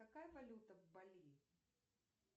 какая валюта в бали